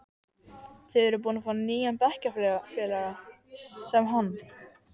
Þið eruð búin að fá nýjan bekkjarfélaga, sem hann.